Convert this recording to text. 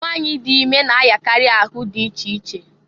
Nwanyị dị ime na-ayakarị ahụ dị iche iche.